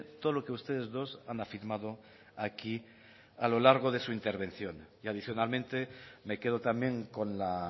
todo lo que ustedes dos han afirmado aquí a lo largo de su intervención y adicionalmente me quedo también con la